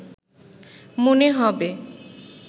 মনে হবে